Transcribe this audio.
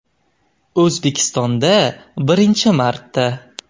O‘zbekistonda birinchi marta!